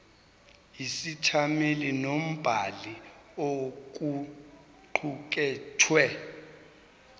isethameli nombhali kokuqukethwe